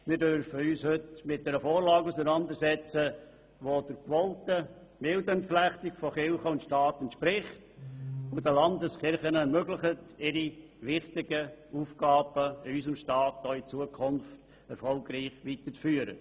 Wir dürfen uns heute mit einer Vorlage auseinandersetzen, die der gewollten Entflechtung von Kirche und Staat entspricht und es den Landeskirchen ermöglicht, ihre wichtigen Aufgaben in unserem Staat auch in Zukunft erfolgreich wahrzunehmen.